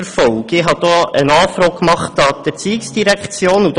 Ich habe diesbezüglich eine Anfrage an die Erziehungsdirektion gestellt.